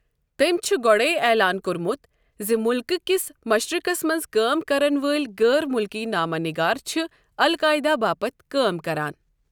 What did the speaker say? تٔمۍ چھُ گۄڈَے اعلان کوٚرمُت زِ مُلکٕہ كِس مشرقَس منٛز کٲم کرَن وٲلۍ غٲر مُلکی نامہ نِگار چھِ'القاعدہ' باپتھ کٲم کران۔